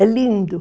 É lindo.